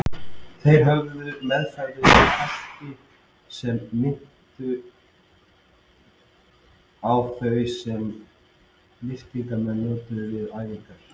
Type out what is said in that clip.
Þeir höfðu meðferðis belti sem minnti á þau sem lyftingamenn nota við æfingar.